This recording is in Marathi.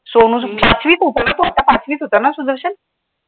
सोनूचं, पाचवीत होता ना तो आता पाचवीत होता ना सुदर्शन?